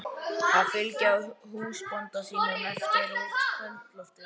Að fylgja húsbónda sínum eftir út í kvöldloftið.